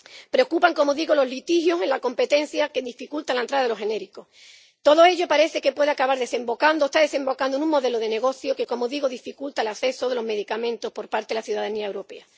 Preocupan, como digo, los litigios en la competencia que dificultan la entrada de los genéricos. Todo ello parece que puede acabar desembocando o está desembocando en un modelo de negocio que dificulta el acceso a los medicamentos por parte la ciudadanía europea.